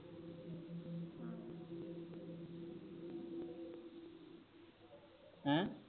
ਹੈਂ?